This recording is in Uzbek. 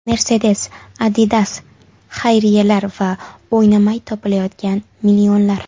Mercedes, Adidas, xayriyalar va o‘ynamay topilayotgan millionlar.